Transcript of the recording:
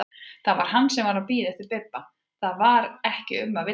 Það var hann sem var að bíða eftir Bibba, það var ekki um að villast!